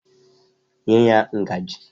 Nye ya ngajị!